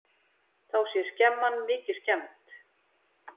Þá sé skemman mikið skemmd.